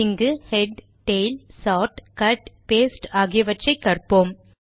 இங்கு head tail sort cut paste ஆகியவற்றை கற்போம்